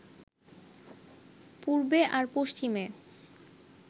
পূবে আর পশ্চিমে